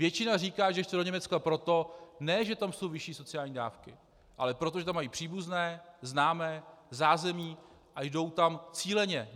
Většina říká, že chce do Německa ne proto, že tam jsou vyšší sociální dávky, ale proto, že tam mají příbuzné, známé, zázemí a jdou tam cíleně.